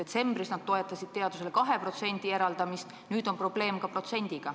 Detsembris nad toetasid teadusele 2% eraldamist, nüüd on probleem ka protsendiga.